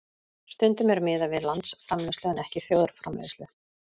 Stundum er miðað við landsframleiðslu en ekki þjóðarframleiðslu.